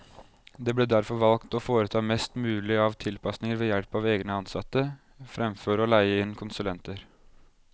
Det ble derfor valgt å foreta mest mulig av tilpasninger ved help av egne ansatte, fremfor å leie inn konsulenter.